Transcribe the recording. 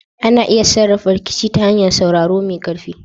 Ana iya sarrafa rikici ta hanyar sauraro mai ƙarfi.